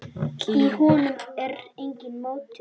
Í honum er enginn mótor.